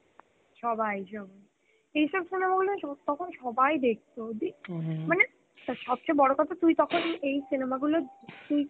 সবাই, সবাই. এইসব cinema গুলো সম~ তখন সবাই দেখত দি, মানে আর সবচে বড় কথা তুই তখন এই cinema গুলো তুই